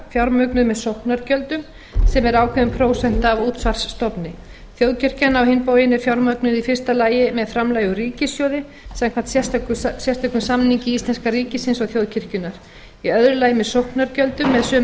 fjármögnuð með sóknargjöldum sem er ákveðin prósenta af útsvarsstofni þjóðkirkjan á hinn bóginn er fjármögnuð í fyrsta lagi með framlagi úr ríkissjóði samkvæmt sérstökum samningi íslenska ríkisins og þjóðkirkjunnar í öðru aldri með